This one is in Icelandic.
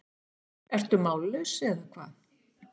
Ertu mállaus, eða hvað?